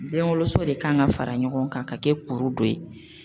Den woloso de kan ka fara ɲɔgɔn kan ka kɛ kuru dɔ ye.